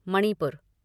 Manipur